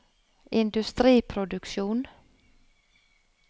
industriproduksjon